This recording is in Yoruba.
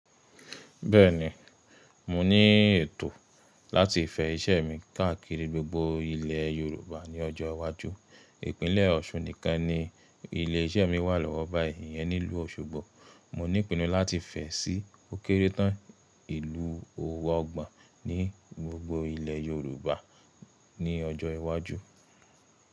Bẹ́ẹ̀ni, mo ní ètò láti fẹ ìṣe mi káàkiri gbogbo ilẹ̀ Yorùbá ní ọjọ́ iwájú. Ìpínlẹ̀ Ọ̀ṣun nìkan ni ilé iṣẹ́ mi wà lọ́wọ́ báyìí, ìyẹn ni ìlú Òṣogbo. Mo ní ìpinnu láti fẹ̀ ẹ́ sí òkéré tán ìlú ọgbọ̀n ní gbogbo ilẹ̀ Yorùbá ní ọjọ́ iwájú.